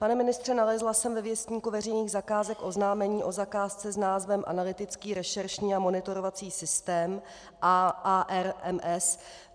Pane ministře, nalezla jsem ve Věstníku veřejných zakázek oznámení o zakázce s názvem Analytický rešeršní a monitorovací systém ARMS.